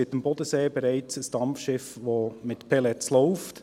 Am Bodensee gibt es bereits ein Dampfschiff, das mit Pellets läuft.